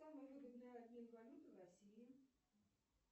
самый выгодный обмен валюты в россии